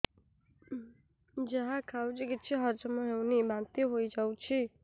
ଯାହା ଖାଉଛି କିଛି ହଜମ ହେଉନି ବାନ୍ତି ହୋଇଯାଉଛି